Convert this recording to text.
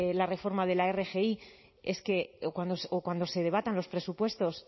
la reforma de la rgi o cuando se debatan los presupuestos